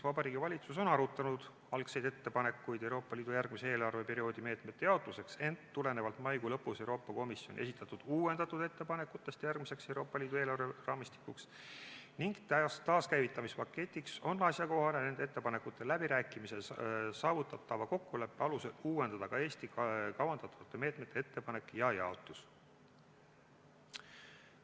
Vabariigi Valitsus on arutanud algseid ettepanekuid Euroopa Liidu järgmise eelarveperioodi meetmete jaotuseks, ent tulenevalt maikuu lõpus Euroopa Komisjoni esitatud uuendatud ettepanekutest järgmiseks Euroopa Liidu eelarveraamistikuks ning taaskäivitamispaketiks on asjakohane nende ettepanekute läbirääkimises saavutatava kokkuleppe alusel uuendada ka Eesti kavandatavate meetmete ettepanek ja jaotus.